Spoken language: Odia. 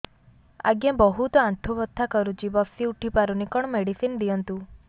ଆଜ୍ଞା ବହୁତ ଆଣ୍ଠୁ ବଥା କରୁଛି ବସି ଉଠି ପାରୁନି କଣ ମେଡ଼ିସିନ ଦିଅନ୍ତୁ